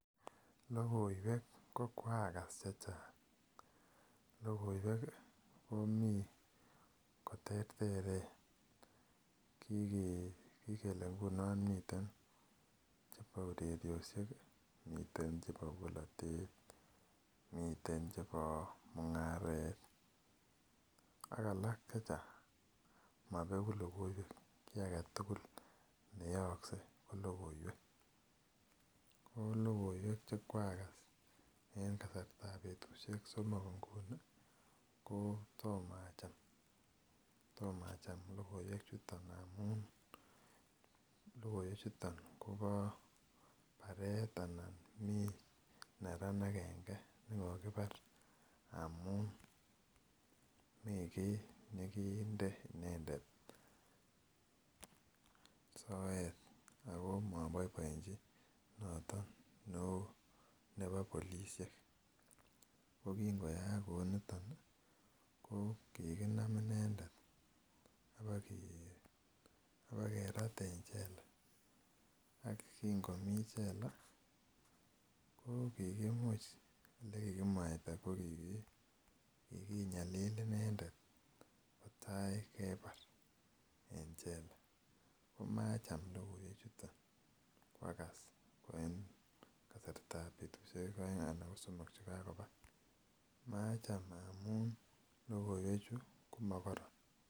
Lokoiwek ko kwakas chechang lokoiwek komii koterteren kike kikele nguno nemiten chebo urerioshek kii miten chebo bolotet miten chebo mungaret ak all chechang mobeku lokoiwek kii agetukul neyokse ko lokoiwek. Olokoiwek chekwakas en kastab betushek somok inguni ko to acham lokoiwek chuton amun lokoiwek chuton Kobo baret anan Mii neran agenge nekokibar amun Mii kii nekimde inendet soet ako moboiboechin noton neo nebo polishek. Ko kin koyaak kou niton nii konkikinam inendet abakerat en chela ak kin komii chela ko kikimuch ole kikimwaita ko kikinyalili inendet kotakebar en chela komacham lokoiwek chuton kwakas en kasartab betushek aenge ana ko somok chekakoba , macham amun lokoiwek chuu ko mokoron.